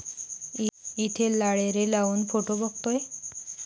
इथे लाळेरे लावून फोटो बघतोय!